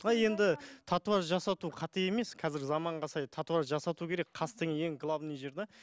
былай енді татуаж жасату қате емес қазіргі заманға сай татуаж жасату керек қас деген ең главный жер де